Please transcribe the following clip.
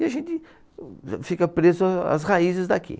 E a gente fica preso às raízes daqui.